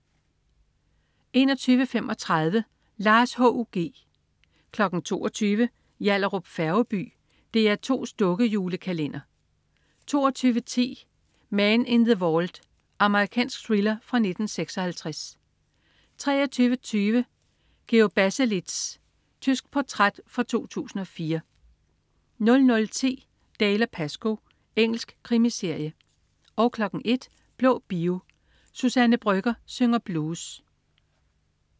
21.35 Lars H.U.G 22.00 Yallahrup Færgeby. DR2's dukke-julekalender 22.10 Man in the Vault. Amerikansk thriller fra 1956 23.20 Georg Baselitz. Tysk portræt fra 2004 00.10 Dalziel & Pascoe. Engelsk krimiserie 01.00 Blå Bio. Suzanne Brøgger synger blues